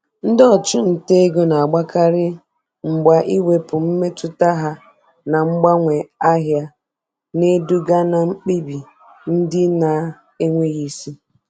Ndị ọchụnta ego na-agbakarị mgba ikewapụ mmetụta ha na mgbanwe ahịa, na-eduga na mkpebi ndị na-enweghị isi.